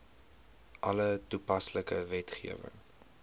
alle toepaslike wetgewing